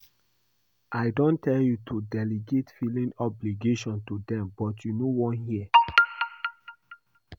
I don tell you to delegate filing obligation to dem but you no wan hear